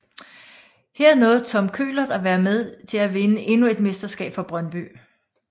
Her nåede Tom Køhlert at være med til at vinde endnu et mesterskab for Brøndby